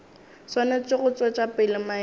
swanetše go tšwetša pele maemo